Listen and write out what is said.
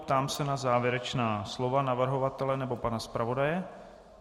Ptám se na závěrečná slova navrhovatele nebo pana zpravodaje.